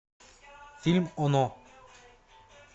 фильм оно